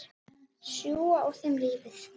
Sjúga úr þeim lífið.